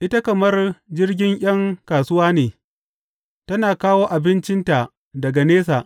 Ita kamar jirgin ’yan kasuwa ne tana kawo abincinta daga nesa.